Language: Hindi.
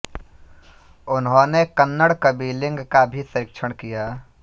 उन्होंने कन्नड़ कवि लिंग का भी संरक्षण किया